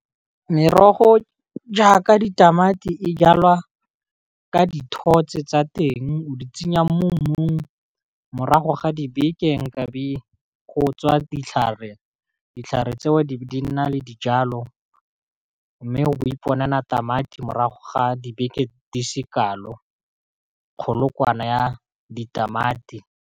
Merogo jaaka ditamati e jalwa ka dithotse tsa teng o di tsenya mo mmung, morago ga dibekeng nkabe go tswa ditlhare, ditlhare tseo di be di nna le dijalo, mme bo iponela tamati morago ga dibeke di sekalo kgolokwana ya ditamati.